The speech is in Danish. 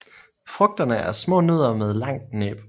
Frugterne er små nødder med langt næb